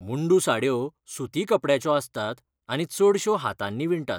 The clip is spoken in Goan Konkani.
मुंडू साडयो सुती कपडयाच्यो आसतात आनी चडश्यो हातांनी विणटात.